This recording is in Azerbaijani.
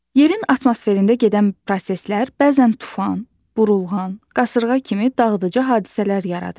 Yerin atmosferində gedən proseslər bəzən tufan, burulğan, qasırğa kimi dağıdıcı hadisələr yaradır.